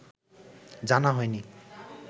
জানা হয়নি